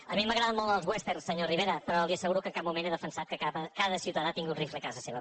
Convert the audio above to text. a mi m’agraden molt els westerns senyor rivera però li asseguro que en cap moment he defensat que cada ciutadà tingui un rifle a casa seva